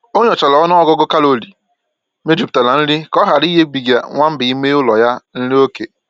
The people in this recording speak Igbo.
O nyochara ọnụ ọgụgụ kalori mejupụtara nri ka ọ hara ịnyebiga nwamba ime ụlọ ya nri oké